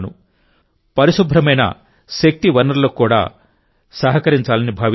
పరిశుభ్రమైన శక్తి వనరులకు కూడా సహకరించాలని భావిస్తున్నారు